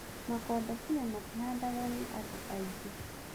Makondobia matihandagwo nĩ andũ aingĩ